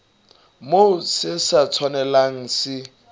moo se sa tshwanelang se